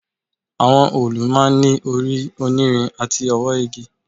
Àwọn òòlù máa ń ní orí onírin àti ọwọ́ igi